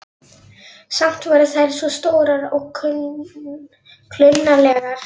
Samt voru þær svo stórar og klunnalegar.